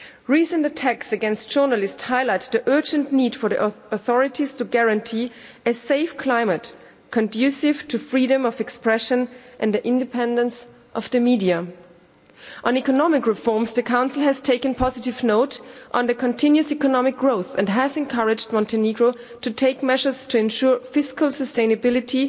Recent attacks against journalists highlight the urgent need for the authorities to guarantee a safe climate conducive to freedom of expression and the independence of the media. On economic reforms, the Council has taken positive note of the continuous economic growth and has encouraged Montenegro to take measures to ensure fiscal sustainability,